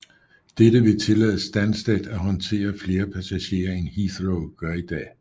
Dette vil tillade Stansted at håndtere flere passagerer end Heathrow gør i dag